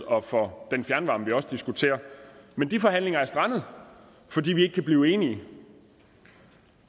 og for den fjernvarme som vi også diskuterer men de forhandlinger er strandet fordi vi ikke kan blive enige